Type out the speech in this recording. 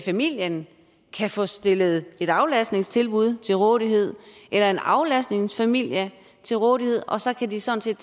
familien kan få stillet et aflastningstilbud til rådighed eller en aflastningsfamilie til rådighed og så kan de sådan set